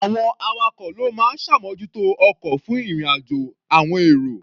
Àwọn awakọ̀ ló máa ń ṣàmójútó ọkọ̀ fún ìrìn-àjò àọn èrò.